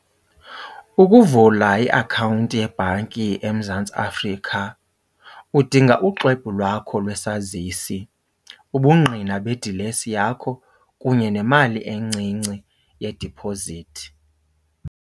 Ukuvula iakhawunti yebhanki eMzantsi Afrika udinga uxwebhu lwakho lwesazisi, ubungqina bedilesi yakho kunye nemali encinci yediphozithi.